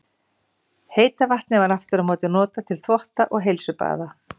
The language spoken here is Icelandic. Heita vatnið var aftur á móti oft notað til þvotta og heilsubaða.